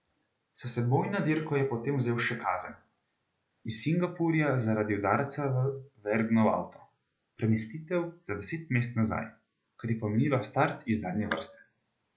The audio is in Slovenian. S seboj na dirko je potem vzel še kazen iz Singapurja zaradi udarca v Vergnov avto, premestitev za deset mest nazaj, kar je pomenilo start iz zadnje vrste.